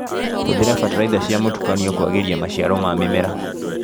Hũthĩra bataraitha cia mũtukanio kwagĩria maciaro ma mĩmera.